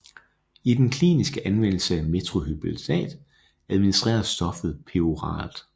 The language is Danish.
I den kliniske anvendelse af methylphenidat administreres stoffet peroralt